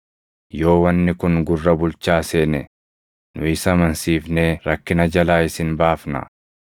Yoo wanni kun gurra bulchaa seene nu isa amansiifnee rakkina jalaa isin baafnaa.”